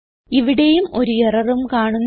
ഇവിടേയും ഒരു എററും കാണുന്നില്ല